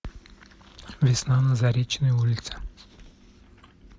весна на заречной улице